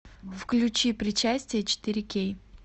включи причастие четыре кей